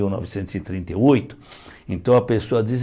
Mil novecentos e trinta e oito então a pessoa diz